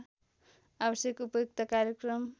आवश्यक उपयुक्त कार्यक्रम